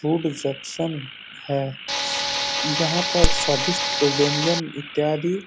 food reception है यहाँ पर स्वादिष्ट व्यंजन इत्यादि --